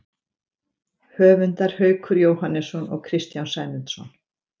Höfundar Haukur Jóhannesson og Kristján Sæmundsson.